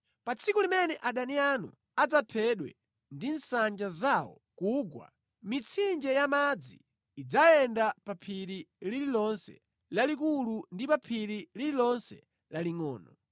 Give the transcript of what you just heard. Pa tsiku limene adani anu adzaphedwa ndi nsanja zawo kugwa, mitsinje ya madzi idzayenda pa phiri lililonse lalikulu ndi pa phiri lililonse lalingʼono.